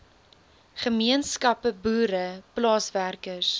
gemeenskappe boere plaaswerkers